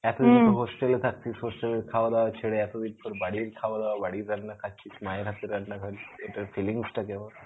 এতদিন তো hostel এ থাকতিস hostel এর খাওয়া দাওয়া ছেড়ে এতদিন তোর বাড়ির খাওয়া দাওয়া বাড়ির রান্না খাচ্ছিস মায়ের হাতের রান্না এটার feelings টা কেমন?